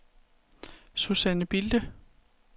Suzanne Bilde